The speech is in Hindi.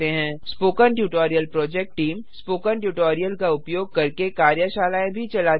spoken tutorial project team spoken tutorial का उपयोग करके कार्यशालाएँ भी चलाती है